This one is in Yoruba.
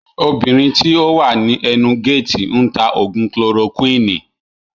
Obìnrin tí ó wà ní ẹnu géètì ń tà Ògùn kilorokuwini